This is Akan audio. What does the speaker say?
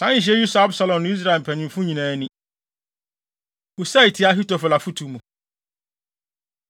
Saa nhyehyɛe yi sɔɔ Absalom ne Israel mpanyimfo nyinaa ani. Husai Tia Ahitofel Afotu Mu